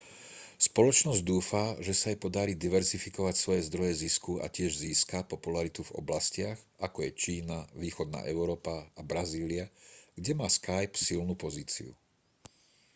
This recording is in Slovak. spoločnosť dúfa že sa jej podarí diverzifikovať svoje zdroje zisku a tiež získa popularitu v oblastiach ako je čína východná európa a brazília kde má skype silnú pozíciu